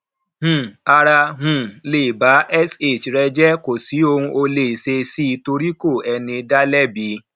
um árá um lè bá sh rẹ jẹ kò sì ou ó lè ṣe sí torí kò ẹni dá lẹbi